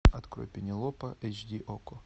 открой пенелопа эйч ди окко